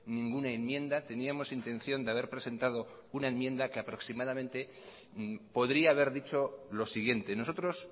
ninguna enmienda teníamos intención de haber presentado una enmienda que aproximadamente podría haber dicho lo siguiente nosotros